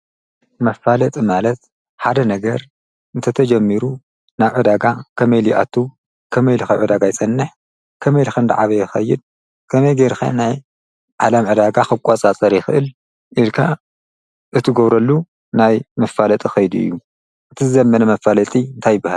መፋለጥ ማለት ሓደ ነገር እንተ ተጀሚሩ ናብ ዕዳጋ ከመይ ሊኣቱ ከመይ ኢልኸዕ ዳጋ ኣይጸንሕ ከመይ ኢልከን ደዓበ የኸይድ ከመይ ጌይርካ ናይ ዓላም ዕዳጋ ኽቋፃ ጸሪኽእል ኢድካ እቲ ጐብረሉ ናይ ምፋለጦ ኸይዱ እዩ እቲ ዘመነ መፋለቲ እንታይብሃl::